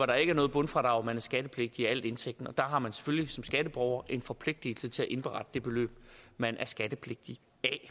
der ikke er noget bundfradrag og man er skattepligtig af hele indtægten og der har man selvfølgelig som skatteborger en forpligtelse til at indberette det beløb man er skattepligtig